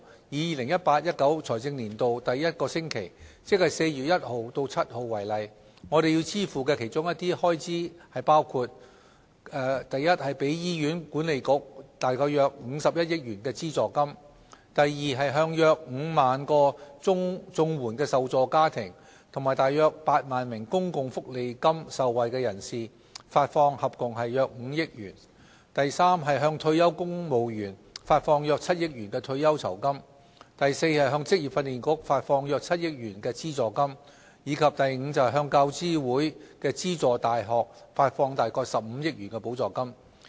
以 2018-2019 財政年度第一個星期，即4月1日至7日為例，我們要支付的其中一些開支包括： a 給予醫院管理局約51億元的資助金； b 向約5萬個綜援受助家庭及約8萬名公共福利金受惠人士發放合共約5億元； c 向退休公務員發放約7億元退休酬金； d 向職業訓練局發放約7億元資助金；及 e 向大學教育資助委員會資助大學發放約15億元補助金。